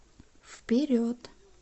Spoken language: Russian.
вперед